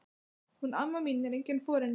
Hún amma mín er engin forynja.